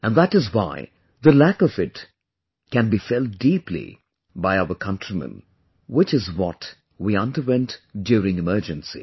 And that is why the lack of it can be felt deeply by our countrymen, which is what we underwent during Emergency